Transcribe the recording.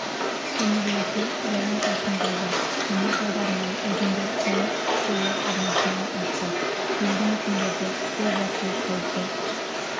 өңірлерде жауын-шашын болды соның салдарынан өзендер толып суы арнасынан асты елді мекендерді су басу қаупі